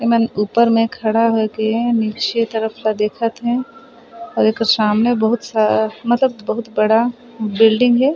एमन ऊपर में खड़ा होय के नीचे तरफ ला देखत है और एकर सामने बहुत सा मतलब बहुत बड़ा बिल्डिंग है।